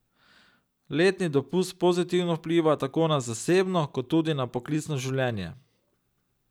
Letni dopust pozitivno vpliva tako na zasebno kot tudi na poklicno življenje.